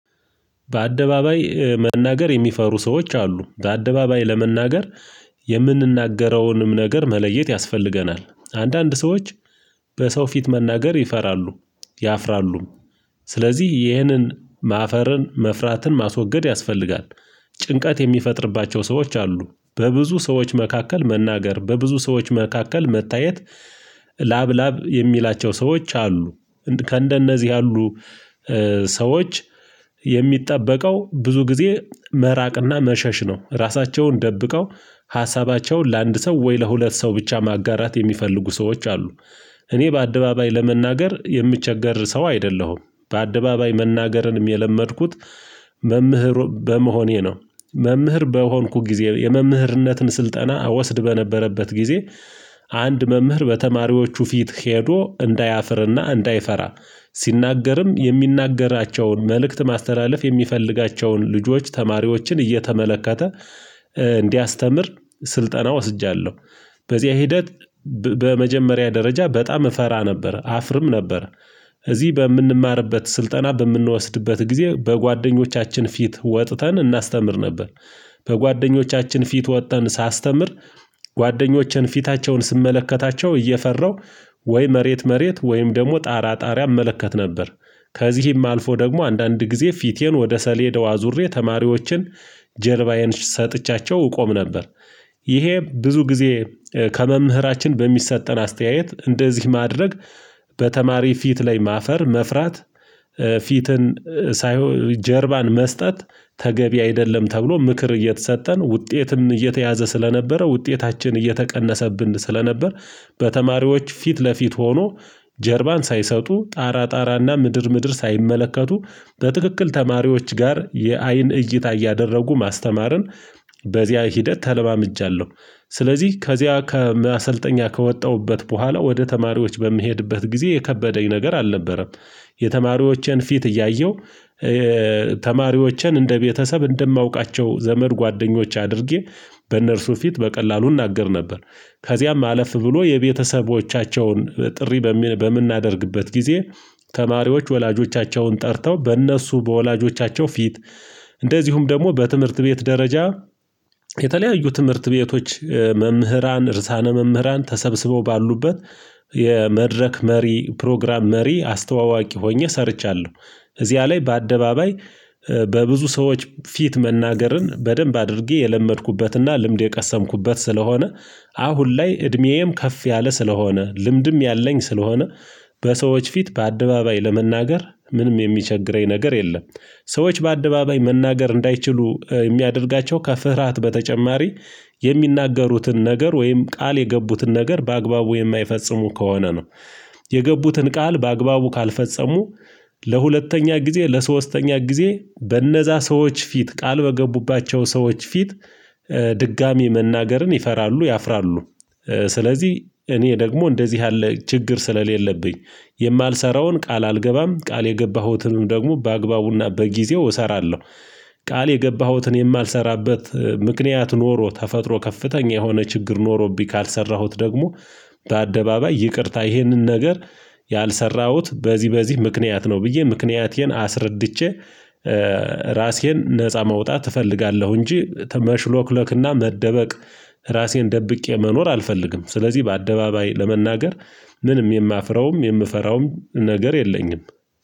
በአደባባይ መናገር የሚፈሩ ሰዎች አሉ። በአደባባይ ለመናገር የምንናገረውንም ነገር መለየት ያስፈልገናል። አንዳንድ ሰዎች በሰው ፊት መናገር ይፈራሉ። ያፍራሉም ስለዚህ ይህንን ማፈርን መፍራትን ማስወገድ ያስፈልጋል። ጭንቀት የሚፈጥርባቸው ሰዎች አሉ በብዙ ሰዎች መካከል መናገር በብዙ ሰዎች መካከል መታየት ላብ ላብ የሚላቸው ሰዎች አሉ። ከእንደነዚህ ያሉ ሰዎች የሚጠበቀው ብዙ ጊዜ መራቅና መሸሽ ነው። ራሳቸውን ደብቀው ሀሳባቸውን ለአንድ ሰው ወይ ለሁለት ሰው ብቻ ማጋራት የሚፈልጉ ሰዎች አሉ። እኔ በአደባባይ ለመናገር የምቸገር ሰው አይደለሁም በአደባባይ መናገርንም የለመድኩት። መምህር በመሆኔ ነው። መምህር በሆንኩ ጊዜ የመምህርነትን ስልጠና እወስድ በነበረበት ጊዜ። አንድ መምህር በተማሪዎቹ ፊት ሄዶ እንዳያፍርና እንዳይፈራ ሲናገርም የሚናገራቸውን መልእክት ማስተላለፍ የሚፈልጋቸውን ልጆች ተማሪዎችን እየተመለከተ እንዲያስተምር ስልጠና ወስጃለሁ። በዚህ ሂደት በመጀመሪያ ደረጃ በጣም እፈራ ነበር አፍርም ነበር። እዚህ በምንማርበት ስልጠና በምንወስድበት ጊዜ በጓደኞቻችን ፊት ወጥተን እናስተምር ነበር። በጓደኞቻችን ፊት ወጥተን ሳስተምር ጓደኞችን ፊታቸውን ስመለከታቸው እየፈራው ወይ መሬት መሬት ወይም ደግሞ ጣራ ጣሪያ እመለከት ነበር። ከዚህም አልፎ ደግሞ አንዳንድ ጊዜ ፊቴን ወደ ሰሌዳው አዙሬ ተማሪዎችን ጀርባዬን ሰጥቻቸው ቆም ነበር። ይሄ ብዙ ጊዜ ከመምህራችን በሚሰጠን አስተያየት እንደዚህ ማድረግ በተማሪ ፊት ላይ ማፈር መፍራት ፊትን ሳይሆን ጀርባን መስጠት ተገቢ አይደለም ተብሎ ምክር እየተሰጠን ውጤትም እየተያዘ ስለነበረ ውጤታችን እየተቀነሰብን ስለነበር። በተማሪዎች ፊት ለፊት ሆኖ ጀርባን ሳይሰጡ ጣራ ጣራና ምድር ምድር ሳይመለከቱ በትክክል ተማሪዎች ጋር የአይን እይታ እያደረጉ ማስተማርን በዚያ ሂደት ተለማምጃለሁ። ስለዚህ ከዚያ ከማሰልጠኛ ከወጣሁበት በኋላ ወደ ተማሪዎች በምሄድበት ጊዜ የከበደኝ ነገር አልነበረም። የተማሪዎቼን ፊት እያየሁ ተማሪዎችን እንደ ቤተሰብ እንደማውቃቸው ዘመድ ጓደኞች አድርጌ በእነርሱ ፊት በቀላሉ እናገር ነበር። ከዚያም አለፍ ብሎ የቤተሰቦቻቸውን ጥሪ በምን በምናደርግበት ጊዜ ተማሪዎች ወላጆቻቸውን ጠርተው በእነሱ በወላጆቻቸው ፊት እንደዚሁም ደግሞ በትምህርት ቤት ደረጃ የተለያዩ ትምህርት ቤቶች መምህራን እርሳነ መምህራን ተሰብስቦ ባሉበት የመድረክ መሪ ፕሮግራም መሪ አስተዋዋቂ ሆኜ ሰርቻለሁ። እዚያ ላይ በአደባባይ በብዙ ሰዎች ፊት መናገርን በደንብ አድርጌ የለመድኩበትና ልምድ የቀሰምኩበት ስለሆነ። አሁን ላይ እድሜዬም ከፍ ያለ ስለሆነ ልምድም ያለኝ ስለሆነ። በሰዎች ፊት በአደባባይ ለመናገር ምንም የሚቸግረኝ ነገር የለም። ሰዎች በአደባባይ መናገር እንዳይችሉ የሚያደርጋቸው ከፍርሃት በተጨማሪ የሚናገሩትን ነገር ወይም ቃል የገቡትን ነገር በአግባቡ የማይፈጽሙ ከሆነ ነው። የገቡትን ቃል በአግባቡ ካልፈጸሙ ለሁለተኛ ጊዜ ለሶስተኛ ጊዜ በነዛ ሰዎች ፊት ቃል በገቡባቸው ሰዎች ፊት ድጋሚ መናገርን ይፈራሉ ያፍራሉ። ስለዚህ እኔ ደግሞ እንደዚህ ያለ ችግር ስለሌለብኝ የማልሰራውን ቃል አልገባም ቃል የገባሁትንም ደግሞ በአግባቡና በጊዜው እሰራለሁ። ቃል የገባሁትን የማልሰራበት ምክንያት ኖሮ ተፈጥሮ ከፍተኛ የሆነ ችግር ኖሮብኝ ካልሰራሁት ደግሞ በአደባባይ ይቅርታ ይሄንን ነገር ያልሰራሁት በዚህ በዚህ ምክንያት ነው ብዬ ምክንያቴን አስረድቼ ራሴን ነፃ መውጣት እፈልጋለሁ። እንጂ መሽሎክለክና መደበቅ ራሴን ደብቄ መኖር አልፈልግም። ስለዚህ በአደባባይ ለመናገር ምንም የማፍረውም የምፈራውም ነገር የለኝም